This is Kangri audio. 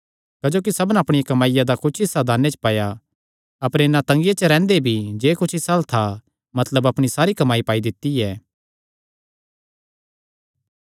क्जोकि सबना अपणी कमाईया दा कुच्छ हिस्सा दाने च पाया अपर इन्नै तंगिया च रैंह्दे भी जे कुच्छ इसा अल्ल था मतलब अपणी सारी कमाई पाई दित्ती ऐ